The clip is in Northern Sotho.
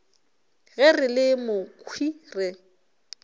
ge re le mokhwi re